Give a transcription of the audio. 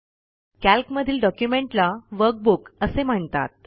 calc मधील डॉक्युमेंटला workbook असे म्हणतात